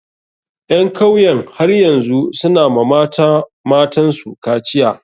Ƴan kauyen har yanzu su na wa mata matan su kaciya.